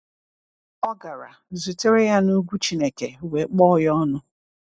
Ọ gara, zutere ya n’ugwu Chineke, wee kpọọ ya ọnụ.